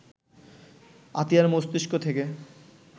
আতিয়ার মস্তিষ্ক থেকে